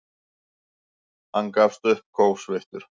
Hann gafst upp, kófsveittur.